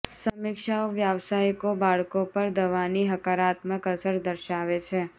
સમીક્ષાઓ વ્યાવસાયિકો બાળકો પર દવાની હકારાત્મક અસર દર્શાવે છે